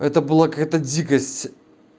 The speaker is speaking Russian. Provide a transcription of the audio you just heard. это была какая-то дикость